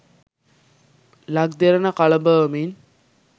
ලක් Derana කළඹවමින්